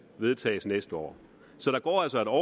vedtages næste år så der går altså et år